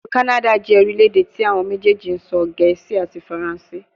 Ilu Kanada jẹ orilẹ-ede ti awọn mejeeji sọ Gẹẹsi ati Faranse